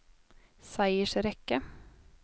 seiersrekke